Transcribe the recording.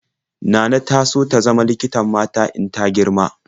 Nana na so ta zama likitan mata in ta girma.